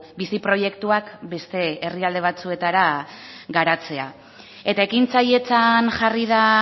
bizi proiektuak beste herrialde batzuetara garatzera eta ekintzailetzan jarri da